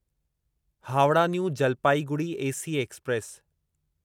Howrah new Jalpaiguri AC express